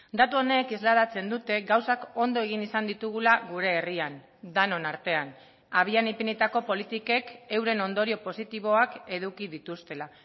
datu honek islatzen dute gauzak ondo egin izan ditugula gure herrian denon artean abian ipinitako politikek euren ondorio positiboak eduki dituztela